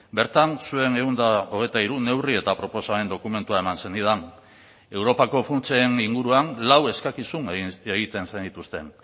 bertan zuen ehun eta hogeita hiru neurri eta proposamen dokumentua eman zenidan europako funtsen inguruan lau eskakizun egiten zenituzten